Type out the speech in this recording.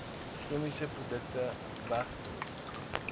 chemiese produkte wegdoen